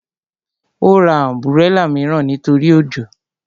Ó ra ọ̀nbúrẹlà mìíràn nítorí òjò